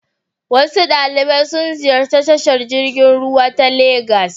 Wasu ɗalibai sun ziyarci tashar jirgin ruwa ta Legas.